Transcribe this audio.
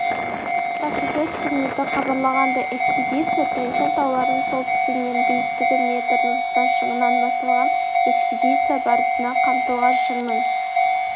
баспасөз қызметі хабарлағандай экспедиция тань-шань тауларының солтүстігінен биіктігі метр нұрсұлтан шыңынан басталған экспедиция барысында қамтылған шыңның